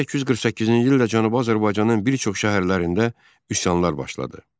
1848-ci ildə Cənubi Azərbaycanın bir çox şəhərlərində üsyanlar başladı.